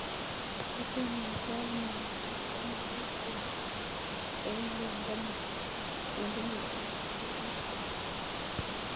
Kotomo ikol mugongiot ko magat kebat eng' loindo nepo cendimitaishek sosom